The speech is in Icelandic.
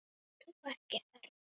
Ert þú ekki Örn?